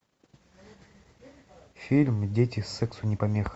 фильм дети сексу не помеха